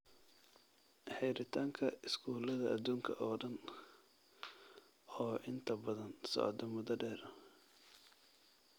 Xiritaanka iskuullada adduunka oo dhan, oo inta badan socda muddo dheer.